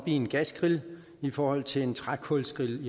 i en gasgrill i forhold til en trækulsgrill